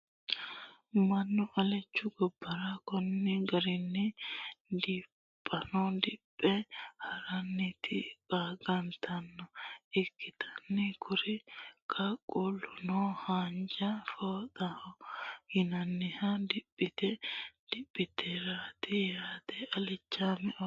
mannu alichu gobbara konni garinni diphano diphe harannoti qaangannita ikkitanna, kuri qaaquulino haanja fooxaho yinanni diphano diphitinoreeti yaate alichu oosooti.